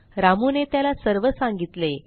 रामूने त्याला सर्व सांगितले